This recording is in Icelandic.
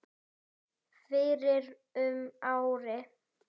fyrir um ári.